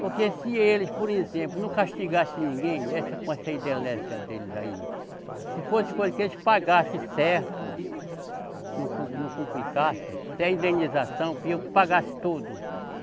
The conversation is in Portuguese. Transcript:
Porque se eles, por exemplo, não castigassem ninguém, essa, com essa hidrelétrica deles aí, se fosse coisa que eles pagassem certo, não com, não complicasse, que a indenização pagasse tudo.